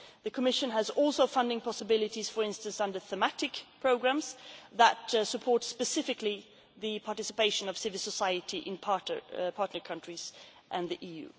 agreements. The Commission also has other funding possibilities for instance, under thematic programmes that support specifically the participation of civil society in partner countries